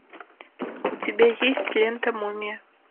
у тебя есть лента мумия